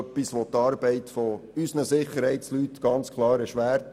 Das würde die Arbeit unserer Sicherheitsleute ganz klar erschweren.